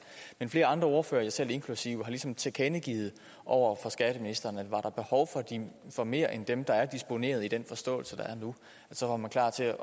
men flere andre ordførere mig selv inklusive har ligesom tilkendegivet over for skatteministeren at var der behov for mere end dem der er disponeret med i den forståelse der er nu så var man klar til at